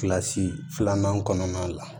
Kilasi filanan kɔnɔna la